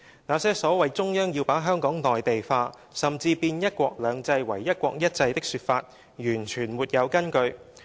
那些所謂中央要把香港'內地化'、甚至變'一國兩制'為'一國一制'的說法，完全沒有根據。